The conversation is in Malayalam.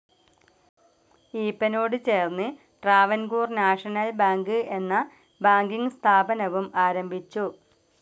ഈപ്പനോട് ചേർന്ന് ട്രാവൻകൂർ നാഷണൽ ബാങ്ക്‌ എന്ന ബാങ്കിങ്‌ സ്ഥാപനവും ആരംഭിച്ചു.